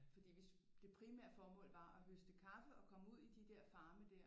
Fordi vi det primære formål var at høste kaffe og komme ud i de der farme der